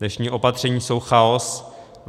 Dnešní opatření jsou chaos.